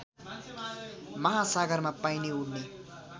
महासागरमा पाइने उड्ने